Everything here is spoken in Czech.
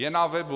Je na webu.